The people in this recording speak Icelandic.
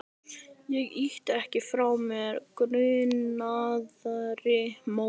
Ég ýti ekki frá mér grunaðri móður.